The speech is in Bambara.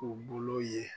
U bolo ye